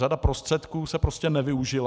Řada prostředků se prostě nevyužila.